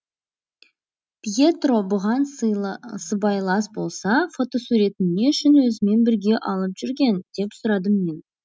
пьетро бұған сыйла сыбайлас болса фотосуретін не үшін өзімен бірге алып жүрген деп сұрадым мен